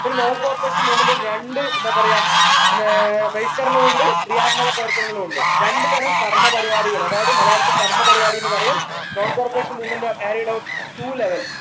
non corporation movement രണ്ട് എന്താ പറയാ ഏർ ബഹിഷ്കരണവുണ്ട് ക്രിയാത്മക പ്രവർത്തനങ്ങളുണ്ട് രണ്ടുതരം കർമ്മ പരിപാടികൾ അതായത് മലയാളത്തിൽ കർമ്മപരിപാടി എന്ന് പറയും non corporation movement was carried out at two level